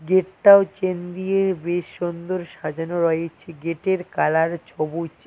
গেটটাও chain দিয়ে বেশ সুন্দর সাজানো রয়েছে গেটের কালার ছোবুজ ।